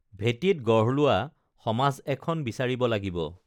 ভেঁটিত গঢ়লোৱা সমাজ এখন বিচাৰিব লাগিব